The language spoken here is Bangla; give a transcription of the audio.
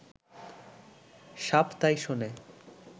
সাপ তাই শোনে